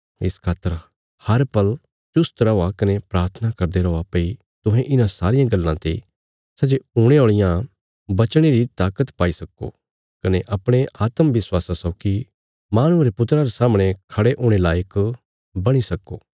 इस खातर हर पल चुश्त रौआ कने प्राथना करदे रौआ भई तुहें इन्हां सारियां गल्लां ते सै जे हुणे औल़ियां बचणे री ताकत पाई सक्को कने अपणे आत्म विश्वासा सौगी माहणुये रे पुत्रा रे सामणे खड़े हुणे लायक बणी सक्को